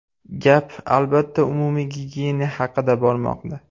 Gap, albatta, umumiy gigiyena haqida bormoqda.